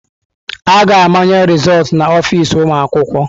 A ga-amanye rịzọltụ na ọfịz ụmụ akwụkwọ.